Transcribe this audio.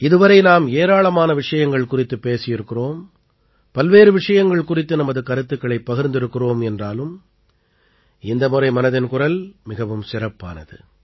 இதுவரை நாம் ஏராளமான விஷயங்கள் குறித்துப் பேசியிருக்கிறோம் பல்வேறு விஷயங்கள் குறித்து நமது கருத்துக்களைப் பகிர்ந்திருக்கிறோம் என்றாலும் இந்த முறை மனதின் குரல் மிகவும் சிறப்பானது